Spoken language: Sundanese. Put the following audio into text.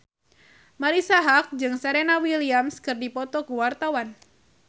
Marisa Haque jeung Serena Williams keur dipoto ku wartawan